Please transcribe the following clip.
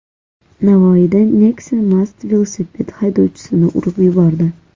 Navoiyda Nexia mast velosiped haydovchisini urib yubordi.